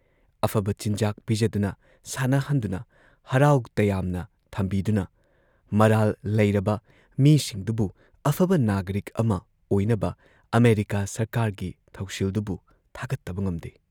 ꯑꯐꯕ ꯆꯤꯟꯖꯥꯛ ꯄꯤꯖꯗꯨꯅ ꯁꯥꯟꯅꯍꯟꯗꯨꯅ, ꯍꯔꯥꯎ ꯇꯌꯥꯝꯅ ꯊꯝꯕꯤꯗꯨꯅ ꯃꯔꯥꯜ ꯂꯩꯔꯕ ꯃꯤꯁꯤꯡꯗꯨꯕꯨ ꯑꯐꯕ ꯅꯥꯒꯔꯤꯛ ꯑꯃ ꯑꯣꯏꯅꯕ ꯑꯃꯦꯔꯤꯀꯥ ꯁꯔꯀꯥꯔꯒꯤ ꯊꯧꯁꯤꯜꯗꯨꯕꯨ ꯊꯥꯒꯠꯇꯕ ꯉꯝꯗꯦ ꯫